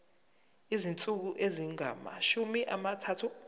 izinsuku ezingamashumi amathathu